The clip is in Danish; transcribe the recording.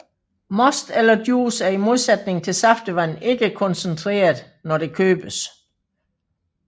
Most eller juice er i modsætning til saftevand ikke koncentreret når det købes